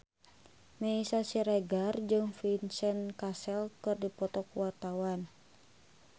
Meisya Siregar jeung Vincent Cassel keur dipoto ku wartawan